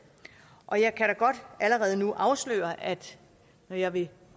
og jeg kan da godt allerede nu afsløre at når jeg vil